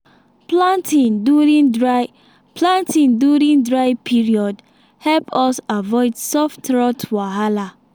planting during dry planting during dry period help us avoid soft rot wahala.